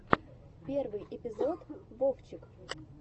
первый эпизод вовчик